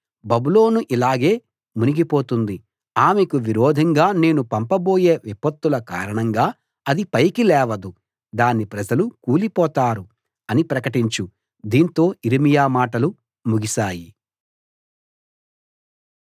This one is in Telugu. బబులోను ఇలాగే మునిగిపోతుంది ఆమెకు విరోధంగా నేను పంపబోయే విపత్తుల కారణంగా అది ఇక పైకి లేవదు దాని ప్రజలు కూలిపోతారు అని ప్రకటించు దీంతో యిర్మీయా మాటలు ముగిసాయి